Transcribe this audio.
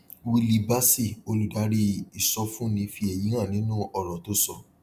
willie bassey olùdarí ìsọfúnni fi èyí hàn nínú òrò tó sọ